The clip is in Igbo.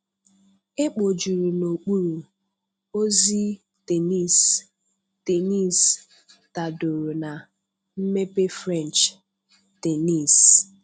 Ekpojuru n'okpuru: ozi, Tenisi Tenisi tadoro na:mmepe French, tenisi.